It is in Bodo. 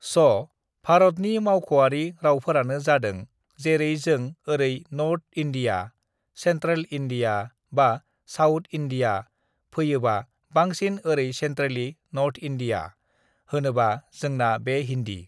स' (so) भारतनि मावख'वारि रावफोरानो जादों जेरै जों ओरै North India (North India) Central India (Central India) बा साउथ इण्डिया (South India) फैयोबा बांसिन ओरै centrally (Centrally) North India (North India) होनोबा जोंना बे हिन्दी